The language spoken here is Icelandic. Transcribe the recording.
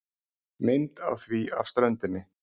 Mynd á því af ströndinni.